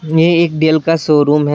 यह एक डेल का शोरूम है।